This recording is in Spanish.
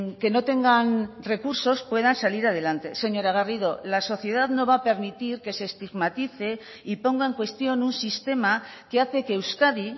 que no tengan recursos puedan salir adelante señora garrido la sociedad no va a permitir que se estigmatice y ponga en cuestión un sistema que hace que euskadi